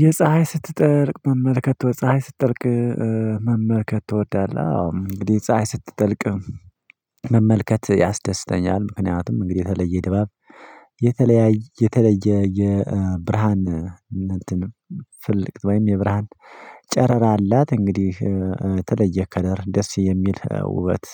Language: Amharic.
የፀሀይ ስትጠልቅ መመልከት የፀሀይ ስትጠልቅ መመልከት ትወዳለህ? አዎ እንግዲህ ፀሀይ ስትጠልቅ መመልከት ያስደስተኛል። ምክንያቱም እንግዲህ የተለየ ድባብ የተለየ የተለየ የብርሃን እነንተን ፍልቅት ወይም የብርሃን ጨረራ አላት። እንግዲህ ተለየ ከለር ደስ የሚል ውበት